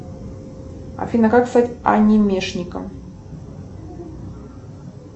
афина как стать анимешником